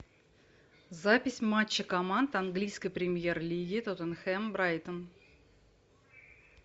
запись матча команд английской премьер лиги тоттенхэм брайтон